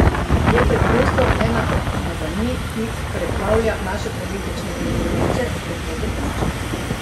Je preprosto ena od umazanij, ki preplavlja naše politično prizorišče, ker to dopuščamo.